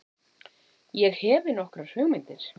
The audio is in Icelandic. Ég hefi nokkrar hugmyndir.